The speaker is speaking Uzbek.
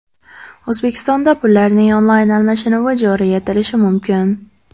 O‘zbekistonda pullarning onlayn almashinuvi joriy etilishi mumkin.